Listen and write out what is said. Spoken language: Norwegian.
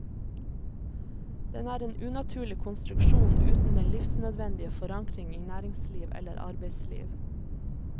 Den er en unaturlig konstruksjon, uten den livsnødvendige forankring i næringsliv eller arbeidsliv.